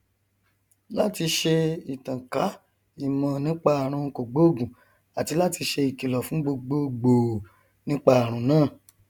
láti ṣe ìtànká ìmọ nípa àrùn kògbóògùn àti láti ṣe ìkìlọ fún gbogbo gbòò nípa àrùn náà